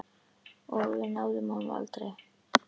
Og við náðum honum aldrei.